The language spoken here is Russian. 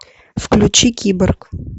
включи киборг